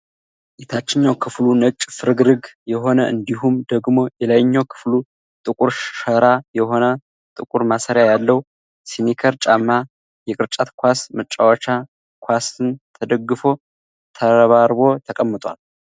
የታችኛው ክፍሉ ነጭ ፍርግርግ የሆነ እንዲሁም ደግሞ የላይኛዉ ክፍሉ ጥቁር ሸራ የሆነ ጥቁር ማሰሪያ ያለው ስኒከር ጫማ የቅርጫት ኳስ መጫወቻ ኳስን ተደግፎ ተረባርቦ ተቀምጧል።